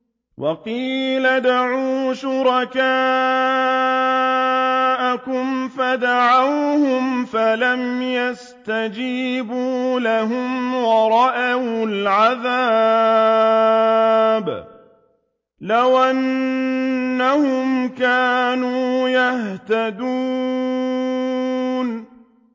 وَقِيلَ ادْعُوا شُرَكَاءَكُمْ فَدَعَوْهُمْ فَلَمْ يَسْتَجِيبُوا لَهُمْ وَرَأَوُا الْعَذَابَ ۚ لَوْ أَنَّهُمْ كَانُوا يَهْتَدُونَ